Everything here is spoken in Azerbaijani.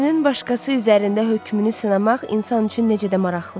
Özünün başqası üzərində hökmünü sınamaq insan üçün necə də maraqlıdır.